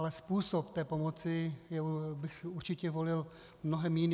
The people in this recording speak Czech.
Ale způsob té pomoci bych určitě volil úplně jiný.